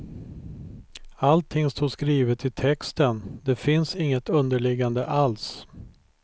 Allting står skrivet i texten, det finns inget underliggande alls.